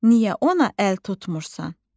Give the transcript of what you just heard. Niyə ona əl tutmursan?